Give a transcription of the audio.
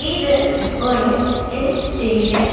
இது ஒரு இல் ஸ்டேஷன் .